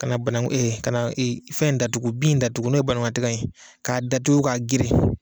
Ka na banakun ka na fɛn in datugu, bin in datugu n'o ye ye k'a datugu k'a geren